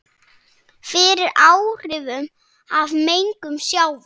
fyrir áhrifum af mengun sjávar.